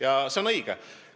Ja see on õige!